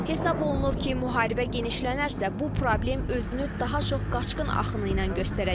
Hesab olunur ki, müharibə genişlənərsə, bu problem özünü daha çox qaçqın axını ilə göstərəcək.